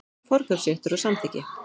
Forkaupsréttur og samþykki.